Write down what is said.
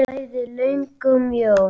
Bæði löng og mjó.